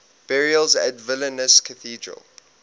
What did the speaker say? burials at vilnius cathedral